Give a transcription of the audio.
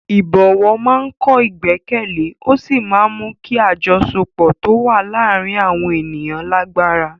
Ìbọ̀wọ̀ máa ń kọ́ ìgbẹ́kẹ̀lé ó sì máa ń mú kí àjọṣepọ̀ tó wà láàárín àwọn ènìyàn lágbára.